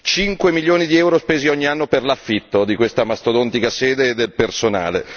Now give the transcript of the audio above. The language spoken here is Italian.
5 milioni di euro spesi ogni anno per l'affitto di questa mastodontica sede e del personale.